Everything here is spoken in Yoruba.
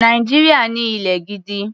Nàìjíríà ní ilẹ̀ gidi.